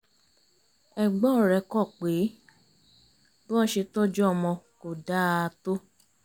ẹ̀gbọ́n rẹ̀ kọ̀ pé bí wọ́n ṣe tọ́jú ọmọ kó dáa tó